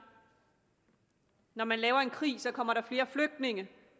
når man laver en krig kommer der flere flygtninge